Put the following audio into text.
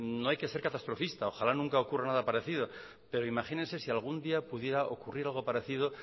no hay que ser catastrofista ojalá nunca ocurra nada parecido pero imagínense si algún día pudiera ocurrir algo parecido